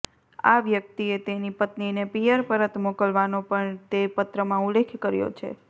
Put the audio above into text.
આ વ્યક્તિએ તેની પત્નીને પિયર પરત મોકલવાનો પણ તે પત્રમાં ઉલ્લેખ કર્યો છે